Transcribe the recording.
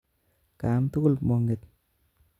Kaam tugul monget